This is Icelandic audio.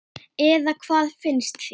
Eða hvað finnst þér?